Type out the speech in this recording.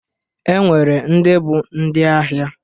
E nwere ndị bụ ndị ahịa